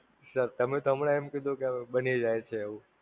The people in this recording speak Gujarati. Sir તમે તો હમણાં એમ કીધું કે હવે બની જાય છે એવું!